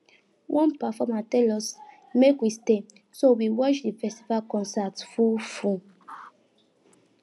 one performer tell us make we stay so we watch di festival concert full full